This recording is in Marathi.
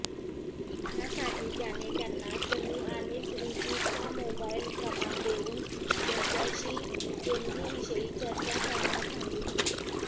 त्यासाठी त्याने त्यांना सनी आणि श्रीजीतचा मोबाईल क्रमांक देऊन त्यांच्याशी देणगीविषयी चर्चा करण्यास सांगितले